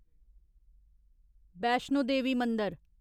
बैश्नो देवी मंदर